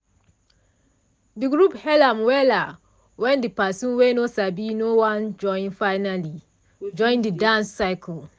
de group hail am wella when de person wey no bin no wan join finally join the dance circle.